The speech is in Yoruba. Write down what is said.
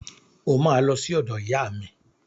O máa lọ sí ọ̀dọ̀ ìyá mi